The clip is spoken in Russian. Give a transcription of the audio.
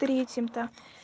третьим-то